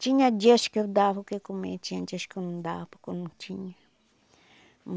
Tinha dias que eu dava o que comer, tinha dias que eu não dava, porque eu não tinha.